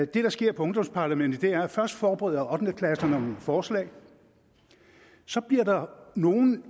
det der sker i ungdomsparlamentet er at først forbereder ottende klasserne nogle forslag så bliver nogle